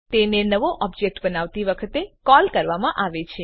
તેને નવો ઓબ્જેક્ટ બનાવતી વખતે કોલ કરવામાં આવે છે